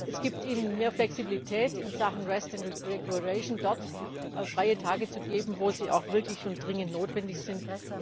Es gibt Ihnen mehr Flexibilität in Sachen dort freie Tage zu geben, wo sie auch wirklich dringend notwendig sind.